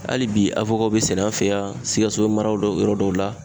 Hali bi bi sɛnɛ an fɛ yan sikaso mara yɔrɔ dɔw la.